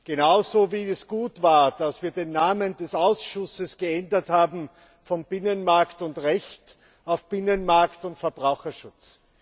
Ebenso war es gut, dass wir den Namen des Ausschusses geändert haben von Binnenmarkt und Recht in Binnenmarkt und Verbraucherschutz.